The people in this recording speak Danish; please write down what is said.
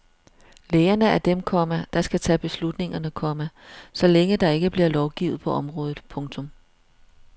Lægerne er dem, komma der skal tage beslutningerne, komma så længe der ikke bliver lovgivet på området. punktum